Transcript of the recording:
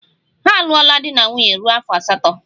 Ha alụọla di na nwunye ruo afọ asatọ.